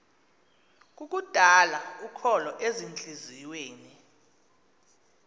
kukudala ukholo ezintliziyweni